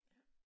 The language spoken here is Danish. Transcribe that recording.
Ja